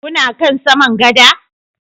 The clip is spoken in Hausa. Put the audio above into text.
Kuna kan saman gada?